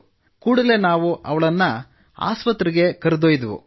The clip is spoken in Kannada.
ಕೂಡಲೇ ನಾವು ಅವಳನ್ನು ಆಸ್ಪತ್ರೆಗೆ ಕರೆದೊಯ್ದೆವು